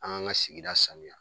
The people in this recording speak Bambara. An k'an ka sigia sanuya.